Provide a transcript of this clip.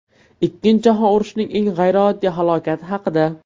Ikkinchi jahon urushining eng g‘ayrioddiy halokati haqida.